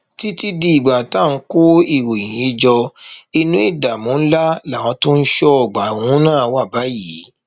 títí dìgbà tá à ń kó ìròyìn yìí jọ inú ìdààmú ńlá làwọn tó ń ṣọ ọgbà ọhún wà báyìí